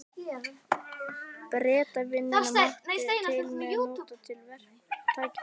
Bretavinnuna, mátti til með að nota tækifærið.